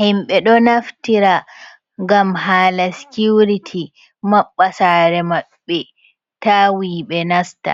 himɓe ɗo naftira ngam hala sikurity maɓɓa sare maɓɓe tawi ɓe nasta.